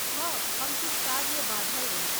हँ! हम किछु काजमे बाझल रही ।